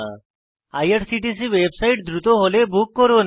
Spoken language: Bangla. আইআরসিটিসি ওয়েবসাইট দ্রুত হলে বুক করুন